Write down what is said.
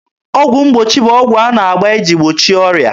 Ọgwụ mgbochi bụ ụdị ọgwụ a na-agba iji gbochie ọrịa.